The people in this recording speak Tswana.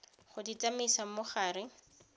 go di tsamaisa mo gare